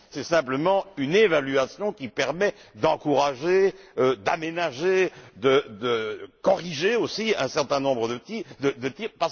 c'est simplement une évaluation qui permet d'encourager, d'aménager, de corriger, aussi, un certain nombre de tirs.